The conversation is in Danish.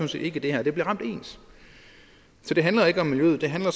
set ikke i det her det bliver ramt ens så det handler ikke om miljøet det handler